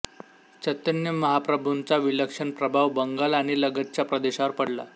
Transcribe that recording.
चैतन्य महाप्रभूंचा विलक्षण प्रभाव बंगाल आणि लगतच्या प्रदेशावर पडला